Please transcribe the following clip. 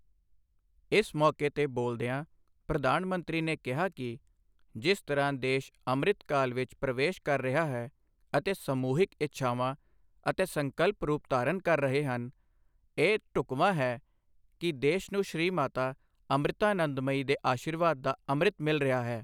ਇਸ ਮੌਕੇ ਤੇ ਬੋਲਦਿਆਂ ਪ੍ਰਧਾਨ ਮੰਤਰੀ ਨੇ ਕਿਹਾ ਕਿ ਜਿਸ ਤਰ੍ਹਾਂ ਦੇਸ਼ ਅੰਮ੍ਰਿਤ ਕਾਲ ਵਿੱਚ ਪ੍ਰਵੇਸ਼ ਕਰ ਰਿਹਾ ਹੈ ਅਤੇ ਸਮੂਹਿਕ ਇੱਛਾਵਾਂ ਅਤੇ ਸੰਕਲਪ ਰੂਪ ਧਾਰਨ ਕਰ ਰਹੇ ਹਨ, ਇਹ ਢੁਕਵਾਂ ਹੈ ਕਿ ਦੇਸ਼ ਨੂੰ ਸ੍ਰੀ ਮਾਤਾ ਅੰਮ੍ਰਿਤਾਨੰਦਮਯੀ ਦੇ ਅਸ਼ੀਰਵਾਦ ਦਾ ਅੰਮ੍ਰਿਤ ਮਿਲ ਰਿਹਾ ਹੈ।